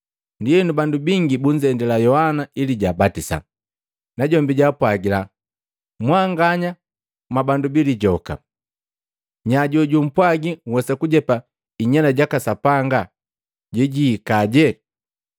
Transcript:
Ndienu bandu bingi bunzendila Yohana ili jaabatisa, najombi jaapwagila, “Mwanganya mwa bandu bilijoka! Nya jojumpwagi nhwesa kujepa inyela yaka Sapanga yeyihikaje?